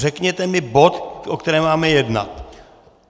Řekněte mi bod, o kterém máme jednat.